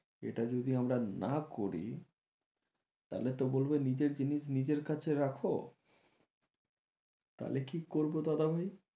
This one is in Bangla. এটা যদি আমরা না করি তাহলে তো বলবে নিজের জিনিস নিজের কাছে রাখো তাহলে কি করবো দাদা ভাই?